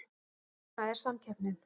Svona er samkeppnin